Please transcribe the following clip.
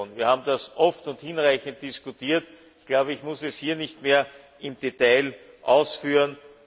Wir haben das oft und hinreichend diskutiert, ich muss es hier nicht mehr im Detail ausführen.